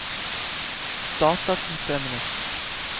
datasystemene